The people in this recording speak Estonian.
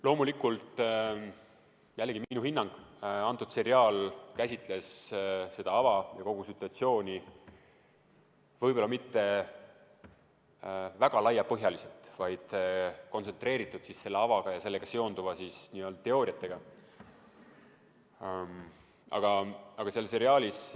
Loomulikult on see jällegi vaid minu hinnang, aga see seriaal käsitles seda ava ja kogu situatsiooni mitte kuigi laiapõhjaliselt, vaid sellele avale ja sellega seonduvatele teooriatele kontsentreeritult.